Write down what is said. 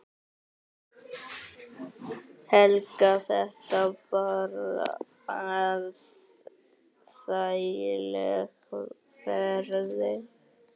Helga: Þetta bara þægileg ferð?